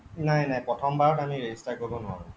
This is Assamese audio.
নাই নাই প্ৰথম বাৰত আমি register কৰিব নোৱাৰো